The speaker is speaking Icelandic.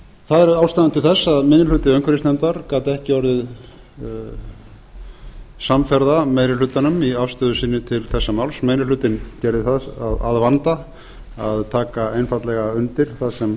það er ástæðan til þess að minni hluti umhverfisnefndar gat ekki orðið samferða meiri hlutanum í afstöðu sinni til þessa máls meiri hlutinn gerði það að vanda að taka einfaldlega undir það sem